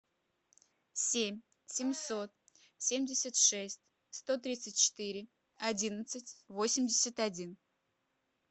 семь семьсот семьдесят шесть сто тридцать четыре одиннадцать восемьдесят один